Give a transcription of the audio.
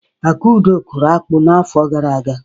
Akudo kụrụ akpu n'afọ gara aga.